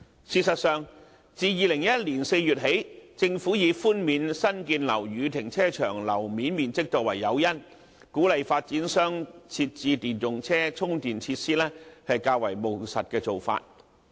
事實上，自2011年4月起，政府己寬免新建樓宇停車場樓面面積，以鼓勵發展商設置電動車充電設施，是較為務實的做法。